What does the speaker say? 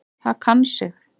Það kann sig.